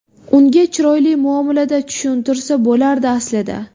Unga chiroyli muomalada tushuntirsa bo‘lardi, aslida.